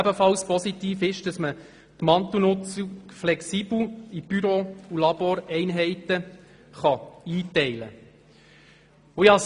Und ebenfalls positiv ist, dass man die Mantelnutzung flexibel in Büro- und Laboreinheiten einteilen kann.